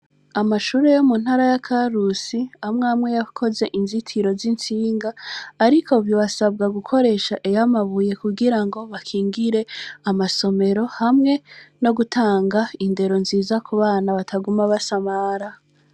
Amashure yo muntara ya karusi amw'amwe yakoze inzitiro z'itsinga, ariko bibasabwa gukoresha iy'amabuye kugira ngo amasomero ,hamwe no gutanga indero nziza kubana bataguma basamara.